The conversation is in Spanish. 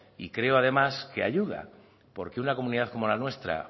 y creo además que ayuda porque una comunidad como la nuestra